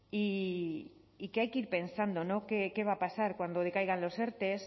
y que hay que ir pensando qué va a pasar cuando decaigan los erte